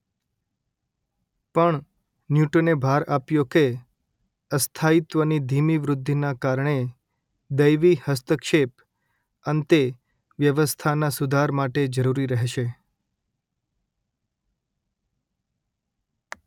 પણ ન્યૂટને ભાર આપ્યો કે અસ્થાયીત્વની ધીમી વૃદ્ધિના કારણે દૈવી હસ્તક્ષેપ અંતે વ્યવસ્થાના સુધાર માટે જરૂરી રહેશે.